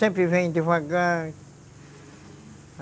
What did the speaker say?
Sempre vem devagar.